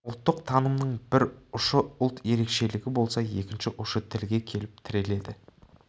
ұлттық танымның бір ұшы ұлт ерекшелігі болса екінші ұшы тілге келіп тіреледі